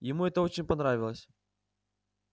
ему это очень понравилось